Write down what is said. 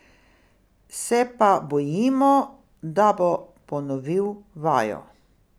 Se pa bojimo, da bo ponovil vajo.